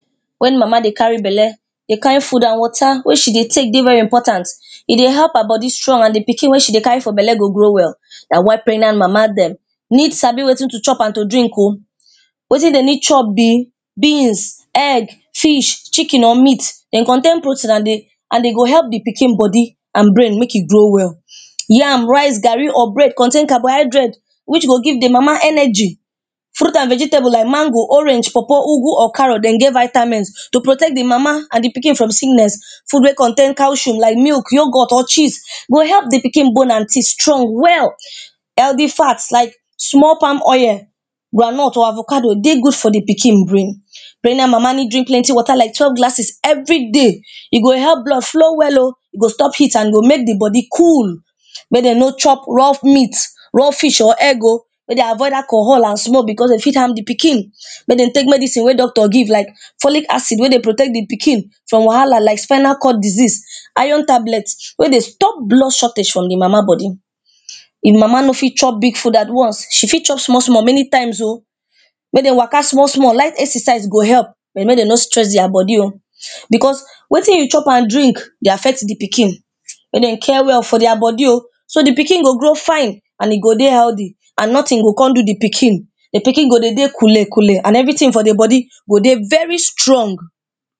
Wen mama dey carry belle dey carry food and water wey she dey take dey very important, e dey help her body strong and di pikin wey she dey carry for belle go grow well, na why pregnant mama dem need sabi wetin to chop and to drink oh, wetin dey need chop be beans, egg, meat, chicken or meat dey contain protein and dey go help di pikin body and brain make e grow well. Yam, rice, garri or bread contain carbohydrates which go give di mama energy. Fruit and vegetable like mango, orange, Pawpaw, igwu or carrot dey get vitamins to protect di mama and di pikin from sickness. Food wey contain caesium like milk, yogurt or cheese go help di pikin teeth strong well. Healthy fat like small palm oil, ground nut or avocado dey good for di pikin brain. Pregnant mama need drink plenty water like twelve glasses everyday, e go help blood flow well oh, e go stop heat and e go make di body cool, make dem no chop raw meat, raw fish or egg oh, make dem avoid alcohol and smoke becos e fit harm di pikin. Make dem take medicine wey doctor give like follic acide wey dey protect di pikin from wahala like spinal cord disease, iron tablets wey dey stop blood shortage from di mama body, if mama no fit chop big food at once, she fit chop small small many times oh, make dem waka small small light exercise go help but make dem no stress dia body oh, becos wetin you chop and drink dey affect di pikin. Make dem care well for dia body oh, so di pikin go grow fine and e go dey healthy and notin go kon do di pikin, di pikin go dey dey coole coole and everytin for di body go dey very strong.